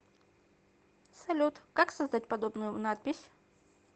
салют как создать подобную надпись